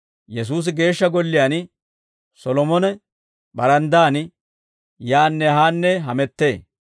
Yesuusi Geeshsha Golliyaan Solomona baranddaan, yaanne haanne hamettee.